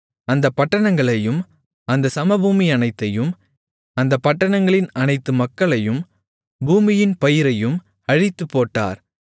அந்தப் பட்டணங்களையும் அந்தச் சமபூமியனைத்தையும் அந்தப் பட்டணங்களின் அனைத்து மக்களையும் பூமியின் பயிரையும் அழித்துப்போட்டார்